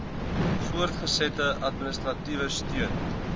voortgesette administratiewe steun